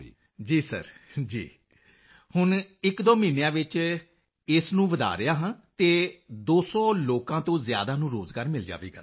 ਮੰਜ਼ੂਰ ਜੀ ਜੀ ਸਰ ਜੀ ਸਰ ਹੁਣ ਇਕਦੋ ਮਹੀਨਿਆਂ ਵਿੱਚ ਇਸ ਨੂੰ ਵਧਾ ਐਕਸਪੈਂਡ ਰਿਹਾ ਹਾਂ ਅਤੇ 200 ਲੋਕਾਂ ਤੋਂ ਜ਼ਿਆਦਾ ਨੂੰ ਰੋਜ਼ਗਾਰ ਮਿਲ ਜਾਵੇਗਾ ਸਰ